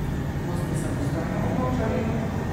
Boste samostojno odločali?